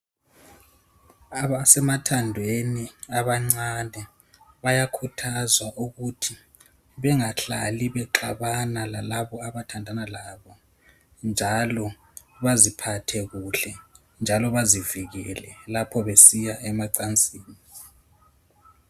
Abasemathandweni abancane bayakuthazwa ukuthi bengahlali bexabana lalabo abandandana labo. Njalo baziphathe kuhle, njalo bazivikele lapho vediya emacansini.